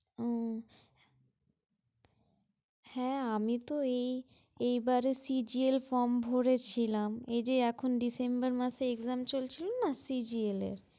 ও, হ্যাঁ আমি তো এই এইবারে CGL form ভরেছিলাম। এইযে এখন December মাসে exam চলছিলো না CGL এর।